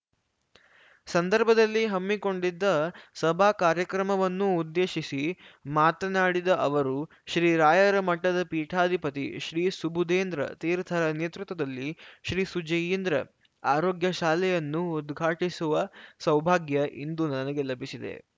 ಸಂದರ್ಭದಲ್ಲಿ ಹಮ್ಮಿಕೊಂಡಿದ್ದ ಸಭಾ ಕಾರ್ಯಕ್ರಮವನ್ನು ಉದ್ದೇಶಿಸಿ ಮಾತನಾಡಿದ ಅವರು ಶ್ರೀರಾಯರ ಮಠದ ಪೀಠಾಧಿಪತಿ ಶ್ರೀಸುಬುಧೇಂದ್ರ ತೀರ್ಥರ ನೇತೃತ್ವದಲ್ಲಿ ಶ್ರೀಸುಜಯೀಂದ್ರ ಆರೋಗ್ಯಶಾಲೆಯನ್ನು ಉದ್ಘಾಟಿಸುವ ಸೌಭಾಗ್ಯ ಇಂದು ನನಗೆ ಲಭಿಸಿದೆ